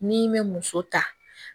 N'i me muso ta